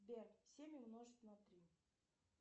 сбер семь умножить на три